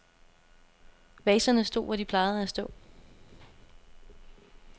Vaserne stod, hvor de plejede at stå.